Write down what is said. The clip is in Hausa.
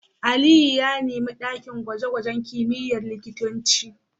Aliyu ya nemi dakin gwaje-gwajen kimiyyar likitanci